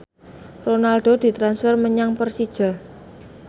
Ronaldo ditransfer menyang Persija